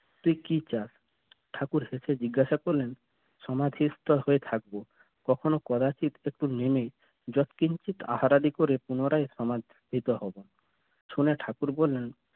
তুই কি চাস? ঠাকুর জিজ্ঞাসা করলেন সমাধিস্থল হয়ে থাকবো কখনো কদাচিৎ একটু নেমে আহার আদি করে পুনরায় সমা~ সমাধিত হব শুনে ঠাকুর বলেন